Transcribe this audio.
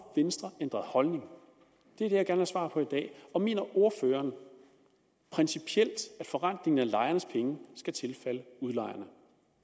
venstre ændret holdning det er det jeg gerne svar på i dag og mener ordføreren principielt at forrentningen af lejernes penge skal tilfalde udlejerne